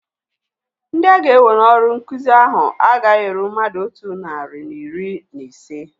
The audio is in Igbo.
Ndị aga-ewe n'ọrụ nkụzi ahu agaghị eru mmadụ otu narị na iri na ise